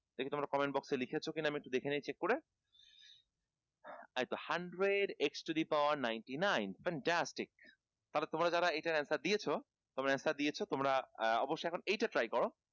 দেখি তোমরা comment box এ লিখেছো কিনা আমি একটু দেখে নেয় check করে এইতো hundred x to the power ninety nine fantastic তাহলে তোমরা যারা এটার answer দিয়েছো তোমরা answer দিয়েছো তোমরা অবশ্যই এখন এইটা try করো